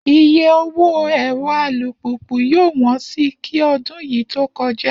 Iye owó ẹ̀rọ alùpùpù yóò wọ́n si kí ọdún yìí tó kọjá